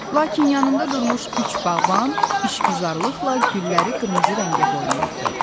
Lakin yanında durmuş üç bağban işgüzarlıqla gülləri qırmızı rəngə boyayırdı.